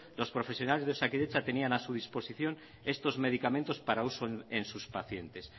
los profesionales de osakidetza tenían a su disposición para uso en sus pacientes